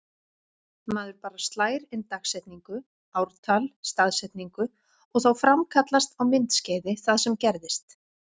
Maður bara slær inn dagsetningu- ártal-staðsetningu og þá framkallast á myndskeiði það sem gerðist.